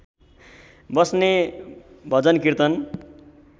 बस्ने भजन र्कीतन